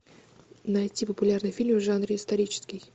найти популярный фильм в жанре исторический